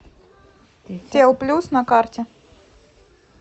телплюс на карте